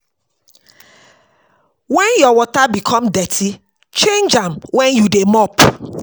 Wen your water become dirty change am wen you dey mop